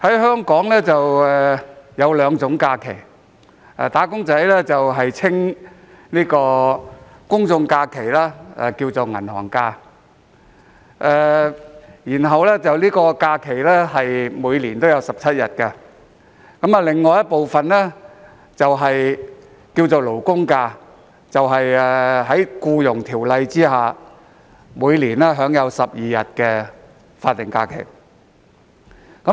香港有兩種假期，"打工仔"將公眾假期稱為"銀行假"，每年有17日，並將另一種假期稱為"勞工假"，即在《僱傭條例》下每年12日的法定假日。